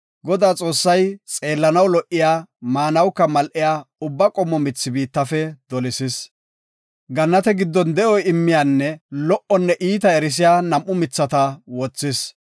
Godaa Xoossay xeellanaw lo77iya, maanawuka mal7iya ubba qommo mithi biittafe dolisis. Gannate giddon de7o immiyanne lo77onne iita erisiya nam7u mithata wothis.